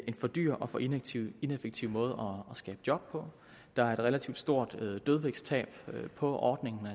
en for dyr og for ineffektiv ineffektiv måde at skabe job på der er et relativt stort dødvægtstab på ordningen